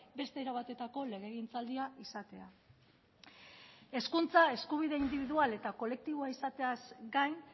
beste era batetako legegintzaldia izatea hezkuntza eskubide indibidual eta kolektiboa izateaz gain